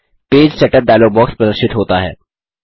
page setup dialog box प्रदर्शित होता है